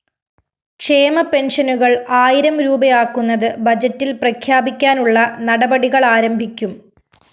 ക്ഷേമ പെന്‍ഷനുകള്‍ ആയിരം രൂപയാക്കുന്നത് ബജറ്റില്‍ പ്രഖ്യാപിക്കാനുള്ള നടപടികളാരംഭിക്കും